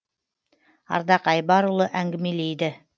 ардақ айбарұлы әңгімелейді